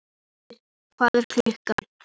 Styrr, hvað er klukkan?